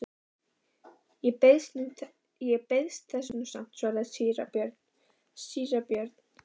Ég beiðist þess nú samt, svaraði síra Björn.